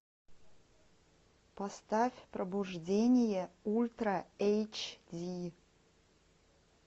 поставь пробуждение ультра эйч ди